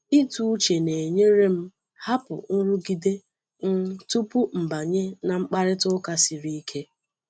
Ịtụ uche na-enyere m hapụ nrụgide um tupu m banye n’mkparịta ụka siri ike.